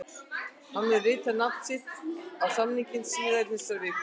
Hann mun rita nafn sitt á samninginn síðar í þessari viku.